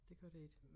Det gør det ikke